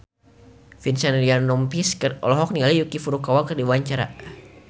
Vincent Ryan Rompies olohok ningali Yuki Furukawa keur diwawancara